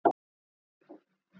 Þá kom á hann hik.